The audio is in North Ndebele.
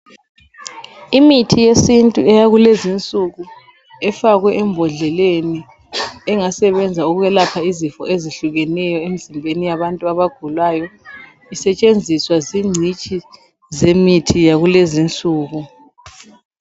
Imithi yesintu eyakulezinsuku ifakwe embodleleni engasebenza ukwelapha izifo ezehlukeneyo emzimbeni yabantu abagulayo, isetshenziswa zingcitshi zemithi yakulezinsuku.